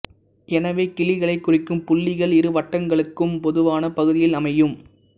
எனவே கிளிகளைக் குறிக்கும் புள்ளிகள் இரு வட்டங்களுக்கும் பொதுவான பகுதியில் அமையும்